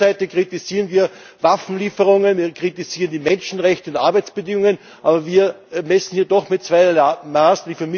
Auf der einen Seite kritisieren wir Waffenlieferungen, kritisieren wir die Menschenrechte und Arbeitsbedingungen, aber wir messen doch mit zweierlei Maß.